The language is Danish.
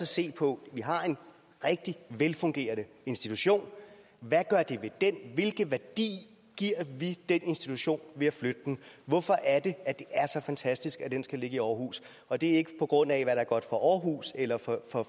se på vi har en rigtig velfungerende institution hvad gør det ved den hvilke værdi giver vi den institution ved at flytte den hvorfor er det at det er så fantastisk at den skal ligge i aarhus og det er ikke på grund af hvad der er godt for aarhus eller for